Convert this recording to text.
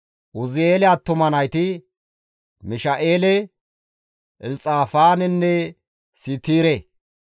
Uzi7eele attuma nayti, Misha7eele, Elxafaanenne Siitire.